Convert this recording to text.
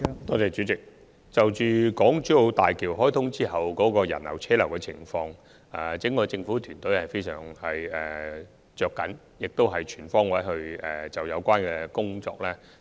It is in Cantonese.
代理主席，關於港珠澳大橋開通後的人流和車流問題，整個政府團隊也是相當着緊的，亦會全方位改善相關工作。